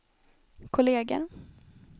kolleger